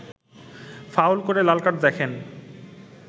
foul করে লাল card দেখেন